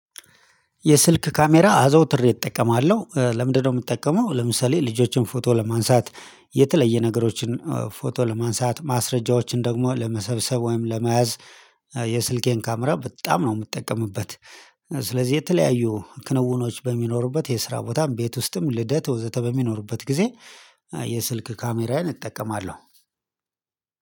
የስልክ ካሜራ አዘወትሬ እጠቀማለሁ ለምንድነው የምጠቀመው ለምሳሌ ልጆቼን ፎቶ ለማንሳት የተለየ ነገሮችን ፎቶ ለማንሳት ማስረጃዎችን ደግሞ ለመሰብሰብ ወይም ለመያዝ የስልኬን ካሜራ በጣም ነው የምጠቀምበት። ስለዚህ የተለያዩ ክንውኖች በሚኖሩበት የስራ ቦታም ቤት ውስጥም ልደት ወዘተ በሚኖሩበት ጊዜ የስልክ ካሜራዬን እጠቀማለሁ።